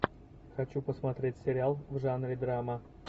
хочу посмотреть сериал в жанре драма